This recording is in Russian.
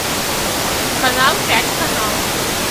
канал пять канал